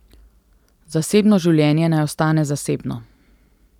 Zasebno življenje naj ostane zasebno.